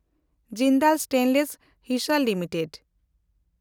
Jindal stainless (ᱦᱤᱥᱮᱱᱰ) limited